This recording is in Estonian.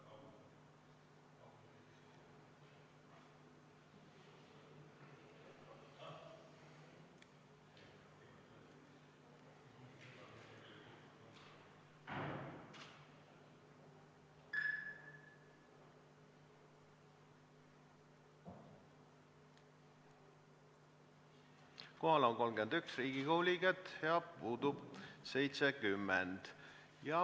Kohaloleku kontroll Kohal on 31 Riigikogu liiget ja puudub 70.